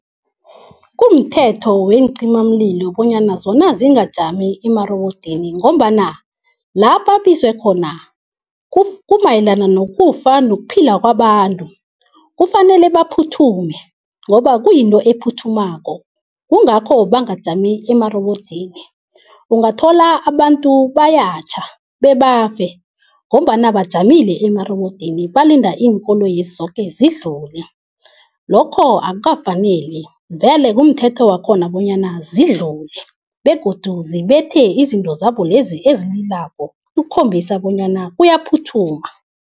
Kumthetho weencimamlilo bonyana zona zingajami emarobodini ngombana la babizwe khona kumayelana nokufa nokuphila kwabantu. Kufanele baphuthume ngoba kuyinto ephuthumako kungakho bangajami emarobodini. Ungathola abantu bayatjha bebafe ngombana bajamile emarobodini balinda iinkoloyezi zoke zidlule. Lokho akukafaneli vele kumthetho wakhona bonyana zidlule begodu zibethe izinto zabolezi ezililako ukukhombisa bonyana kuyaphuthuma.